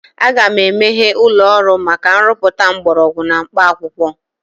Aga m emeghe ụlọ ọrụ maka nrụpụta mgbọrọgwụ na mkpaakwụkwọ.